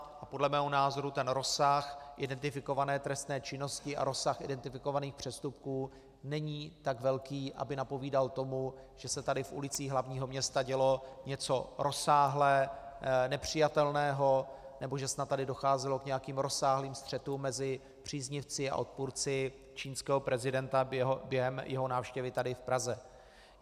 A podle mého názoru ten rozsah identifikované trestné činnosti a rozsah identifikovaných přestupků není tak velký, aby napovídal tomu, že se tady v ulicích hlavního města dělo něco rozsáhle nepřijatelného nebo že snad tady docházelo k nějakým rozsáhlým střetům mezi příznivci a odpůrci čínského prezidenta během jeho návštěvy tady v Praze.